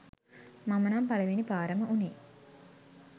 මම නම් පළවෙනි පාරම උනේ